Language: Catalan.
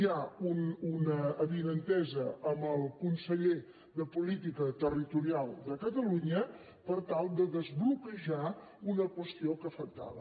hi ha una avinentesa amb el conseller de política territorial de catalunya per tal de desbloquejar una qüestió que afectava